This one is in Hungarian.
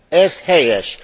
Ez helyes!